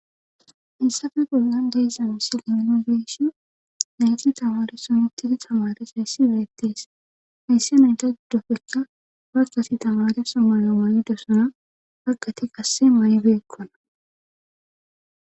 Hayissafe bollan de'iza sile nun beyishn nayti tamareson utidi tamares heyssi beettees heysse nayta guddofekka warkasi tamare sommayo mayidosana haqati qasse may7beekkona